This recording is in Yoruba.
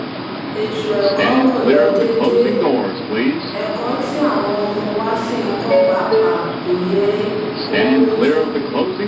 ètò ẹ̀kọ́ kọ́ ló déédé ẹ̀kọ́ tí àwọn ọmọ wa ṣì ń kọ́ pàápàá kò yè kooro tó